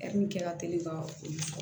Hɛri min kɛra teli ka olu